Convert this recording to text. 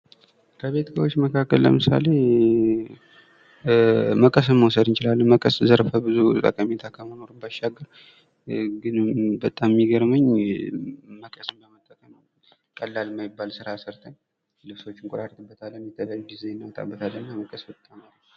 ከቤት እቃዎች መካከል ለምሳሌ፦ መቀስን መውሰድ እንችላለን መቀስ ዘርፈ- ብዙ ጠቀሜታ ከመኖሩ ባሻገር ግን በጣም የሚገርመኝ; መቀስን በመጠቀም ቀላል የማይባል ስራ ሰርተን ልብሶችን እንቆራርጥበታለን፥ የተለያዩ ድዛይኖችን እናወጣበታለን እና፤ መቀስ በጣም ሀሪፍ ነው።